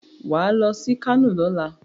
Wà ló sí kano lọ́la.